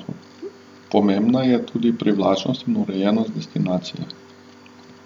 Pomembna je tudi privlačnost in urejenost destinacije.